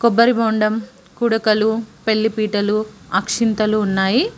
కొబ్బరి బొండం కుడకలు పెళ్లి పీటలు అక్షింతలు ఉన్నాయి.